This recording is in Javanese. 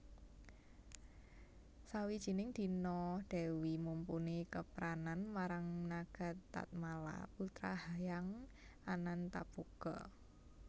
Sawijining dina Dèwi Mumpuni kepranan marang Nagatatmala putra Hyang Anantaboga